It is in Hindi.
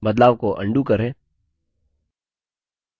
बदलाव को undo करें